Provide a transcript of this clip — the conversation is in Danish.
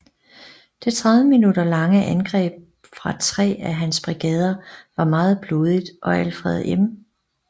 Det 30 minutter lange andreb fra 3 af hans brigader var meget blodigt og Alfred M